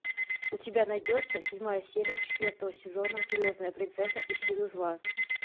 у тебя найдется седьмая серия четвертого сезона звездная принцесса и силы зла